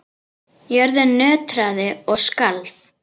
Jörðin nötraði og skalf.